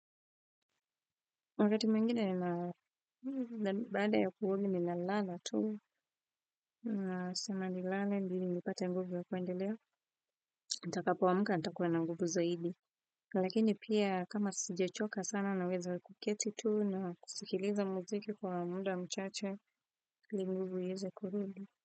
Wakati mwingine baada ya kuoga ninalala tu. Nasema nilale ndiyo nipate nguvu ya kuendelea. Nitakapoamka nitakuwa na nguvu zaidi. Lakini pia kama sijachoka sana naweza kuketi tu na kusikiliza muziki kwa muda mchache ili nguvu iweze kurudi.